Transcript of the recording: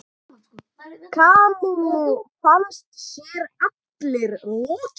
Kamillu fannst sér allri lokið.